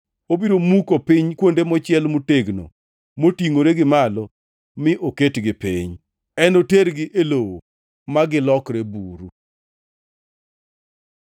Obiro muko piny kuondeu mochiel motegno motingʼore gi malo mi oketgi piny, enotergi e lowo ma gilokre buru.